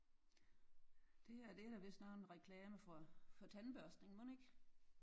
Det her det er da vist nok en reklame for tandbørstning mon ikke?